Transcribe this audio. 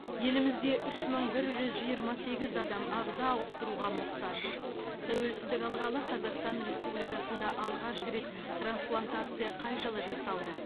елімізде үш мың бір жүз жиырма сегіз адам ағза ауыстыруға мұқтаж тәуелсіздік алғалы қазақстан республикасында алғаш рет трансплантация қай жылы жасалды